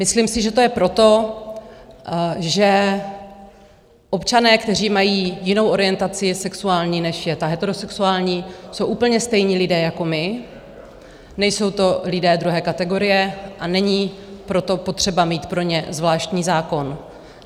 Myslím si, že to je proto, že občané, kteří mají jinou orientaci sexuální, než je ta heterosexuální, jsou úplně stejní lidé jako my, nejsou to lidé druhé kategorie, a není proto potřeba mít pro ně zvláštní zákon.